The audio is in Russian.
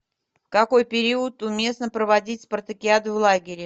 в какой период уместно проводить спартакиаду в лагере